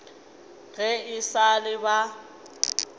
ge e sa le ba